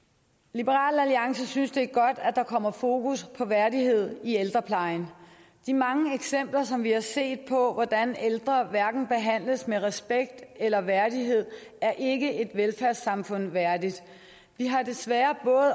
liberal alliance synes det er godt at der kommer fokus på værdighed i ældreplejen de mange eksempler som vi har set på hvordan ældre hverken behandles med respekt eller værdighed er ikke et velfærdssamfund værdigt vi har desværre